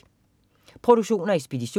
Produktion og ekspedition: